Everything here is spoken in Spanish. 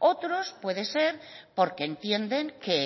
otros puede ser porque entienden que